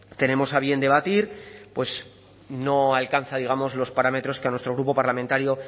tenemos a bien debatir no alcanza digamos los parámetros que a nuestro grupo parlamentario